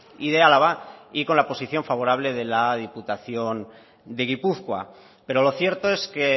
y de álava y con la posición favorable de la diputación de gipuzkoa pero lo cierto es que